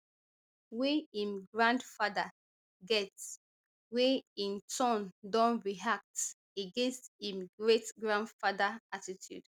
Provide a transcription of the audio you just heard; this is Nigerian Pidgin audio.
wey im grandfather get wey in turn don react against im greatgrandfather attitude